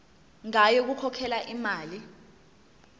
ngayo yokukhokhela imali